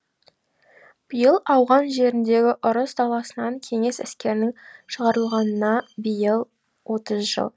биыл ауған жеріндегі ұрыс даласынан кеңес әскерінің шығарылғанына биыл отыз жыл